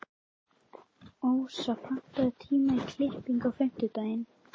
Ósa, pantaðu tíma í klippingu á fimmtudaginn.